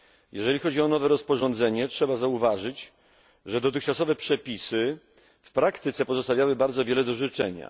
Jeżeli chodzi o nowe rozporządzenie, trzeba zauważyć, że dotychczasowe przepisy w praktyce pozostawiały bardzo wiele do życzenia.